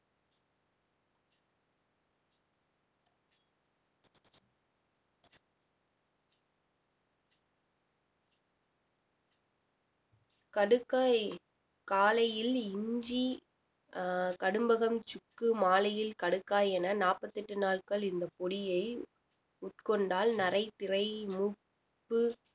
கடுக்காய் காலையில் இஞ்சி அஹ் கடும்பகம் சுக்கு மாலையில் கடுக்காய் என நாற்பத்தி எட்டு நாட்கள் இந்த பொடியை உட்கொண்டால் நரை திரை மூப்பு